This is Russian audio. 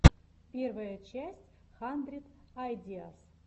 первая часть хандрид айдиас